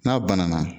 N'a banana